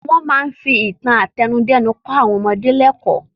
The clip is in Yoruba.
Wọ́n máa ń fi ìtàn àtẹnudẹ́nu kọ́ àwọn ọmọdé lẹ́kọ̀ọ́.